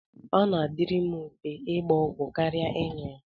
Ọ na-adịrị m mfe ịgba ọgwụ kara ịṅụ ya.